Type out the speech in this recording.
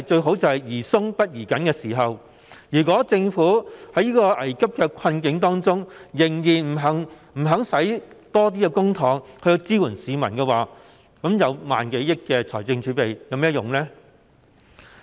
現時宜寬不宜緊，如果政府在危急的困境中仍不願花更多公帑支援市民，有1萬多億元的財政儲備又有何用？